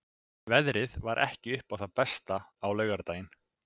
Veðrið var ekki upp á það besta á laugardaginn.